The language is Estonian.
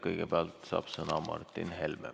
Kõigepealt saab sõna Martin Helme.